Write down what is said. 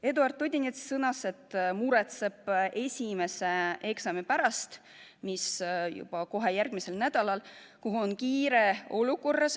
Eduard Odinets ütles, et tema muretseb esimese eksami pärast, mis on juba järgmisel nädalal.